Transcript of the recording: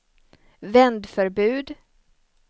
vändförbud